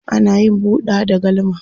ana yin buɗa da galma